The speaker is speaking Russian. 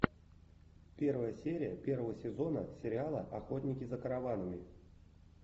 первая серия первого сезона сериала охотники за караванами